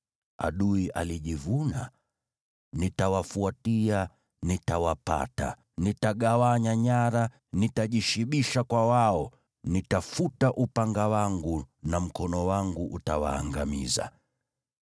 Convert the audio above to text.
“Adui alijivuna, ‘Nitawafuatia, nitawapata. Nitagawanya nyara; nitajishibisha kwa wao. Nitafuta upanga wangu na mkono wangu utawaangamiza.’